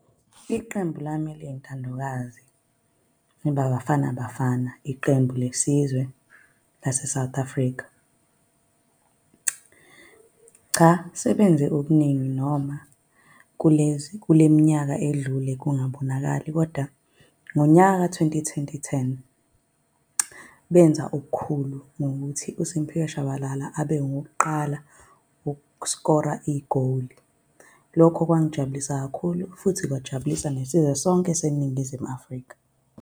Iqembu lami eliyintandokazi iBafana Bafana, iqembu lesizwe lase-South Africa. Cha, sebenze okuningi noma kulezi, kule minyaka edlule kungabonakali kodwa ngonyaka ka-twenty ten benza obukhulu ngokuthi uSimphiwe Shabalala abe ngowukuqala uku-score-ra igoli. Lokho kwangijabulisa kakhulu, futhi kwajabulisa nesizwe sonke seNingizimu Afrika.